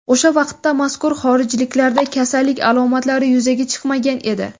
O‘sha vaqtda mazkur xorijliklarda kasallik alomatlari yuzaga chiqmagan edi.